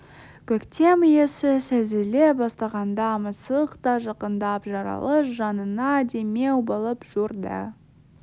көктем иісі сезіле бастағанда мысық та жақындап жаралы жанына демеу болып жүрді